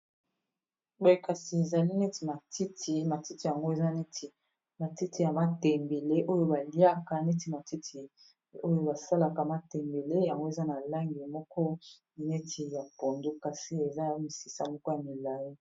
Boye kasi ezali neti matiti matiti yango eza neti matiti ya matembele, oyo baliaka neti matiti oyo basalaka matembele yango eza na langi moko neti ya pondu kasi eza misisa moko ya milai.